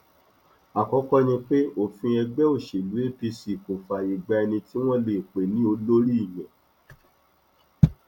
àkọkọ ni pé òfin ẹgbẹ òṣèlú apc kò fààyè gba ẹni tí wọn lè pè ní olórí ìyẹn